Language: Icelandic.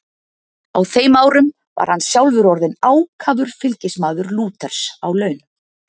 Á þeim árum var hann sjálfur orðinn ákafur fylgismaður Lúters á laun.